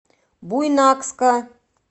буйнакска